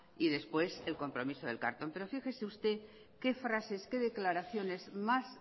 y después el compromiso del carlton pero fíjese usted qué frases qué declaraciones más